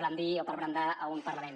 brandir o per brandar a un parlament